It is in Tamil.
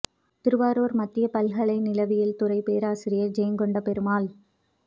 திருவாரூர் மத்திய பல்கலை நிலவியல் துறை பேராசிரியர் ஜெயம்கொண்ட பெருமாள்